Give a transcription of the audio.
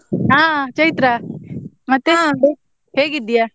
ಆ ಚೈತ್ರ ಮತ್ತೆ ಹೇಗಿದ್ದೀಯ?